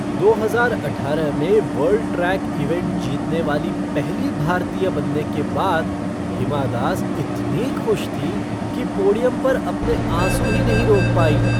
दो हजार अठारह में वर्ल्ड ट्रैक इवेंट जीतने वाली पहली भारतीय बनने के बाद हिमा दास इतनी खुश थीं कि पोडियम पर अपने आंसू ही नहीं रोक पाईं।